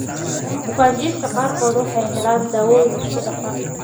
Bukaanjiifka qaarkood waxay helaan daawayn isku dhafan.